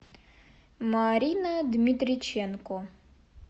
марина дмитриченко